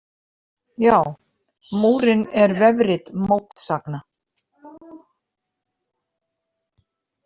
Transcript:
Já, Múrinn er vefrit mótsagna!